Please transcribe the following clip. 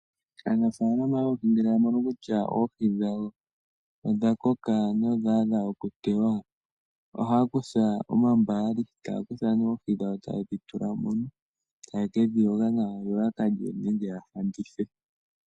Aanafaalama yoohi ngele yamono kutya oohi dhawo odhakoka nodha adha okuteywa ohaya kutha oombaali taya kuthamo oohi dhawo tayedhi tulamo etayekedhi yoga nawa yo yakalye nenge ya landithe.